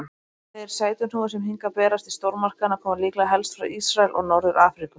Þeir sætuhnúðar sem hingað berast í stórmarkaðina koma líklega helst frá Ísrael og Norður-Afríku.